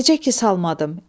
Necə ki, salmadım.